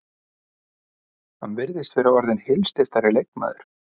Hann virðist vera orðinn heilsteyptari leikmaður.